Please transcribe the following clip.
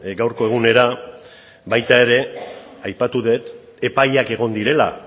gaurko egunera baita ere aipatu dut epaiak egon direla